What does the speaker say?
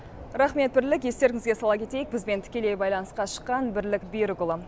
рақмет бірлік естеріңізге сала кетейік бізбен тікелей байланысқа шыққан бірлік берікұлы